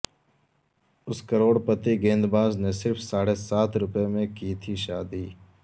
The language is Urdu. اس کروڑ پتی گیند باز نے صرف ساڑھے سات روپئے میں کی تھی شادی